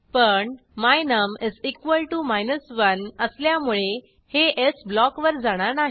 पण my num 1 असल्यामुळे हे एल्से ब्लॉकवर जाणार नाही